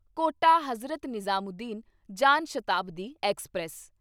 quota Hazrat Nizamuddin Jan Shatabdi express